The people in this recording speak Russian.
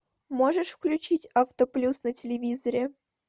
можешь включить автоплюс на телевизоре